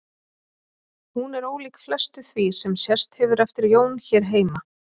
Hún er ólík flestu því sem sést hefur eftir Jón hér heima.